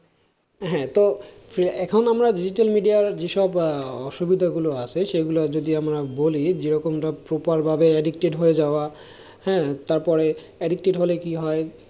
হ্যাঁ তো এখন আমরা digital media র যে সব অসুবিধা গুলো আছে সেগুলো যদি আমরা বলি যে রকম ভাবে addicted হয়ে যাওয়া তারপরে addicted হলে কি হয়,